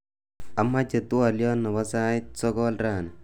Amache twoliot nebo sait sokol rani